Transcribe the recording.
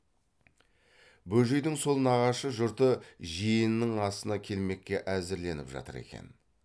бөжейдің сол нағашы жұрты жиенінің асына келмекке әзірленіп жатыр екен